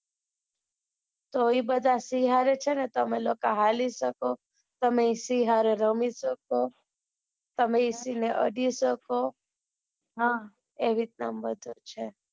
તો એ બધા સિંહ હરે છે ને તમે લોકો હાલી શકો તમે સિંહ સાથે રમી શકો તમે સિંહ ને અડી શકો એવી રીતે મધુર છે.